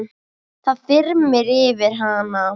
Það þyrmir yfir hana.